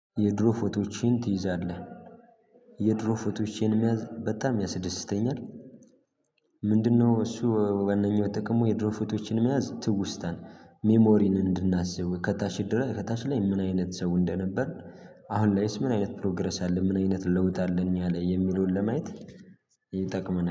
የድሮ ፎቶቼን ትይዛለህ? የድሮ ፎቶቼን መያዝ በጣም ያስደስተኛል። ምንድነው እሱ ዋናኛው ጥቅሙ። የድሮ ፎቶዎችን መያዝ ትውስታን ሜሞሪን እንድናስብ ከታች ድረስ ከታች ላይ ምን አይነት ሰው እንደነበር። አሁን ላይ ምን አይነት ፕሮግረስ አለ ምን አይነት ለውጥ አለኝ ያለ የሚለውን ለማየት ይጠቅመናል